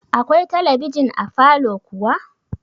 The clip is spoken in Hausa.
Akwai talabijin a falow kuwa?